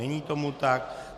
Není tomu tak.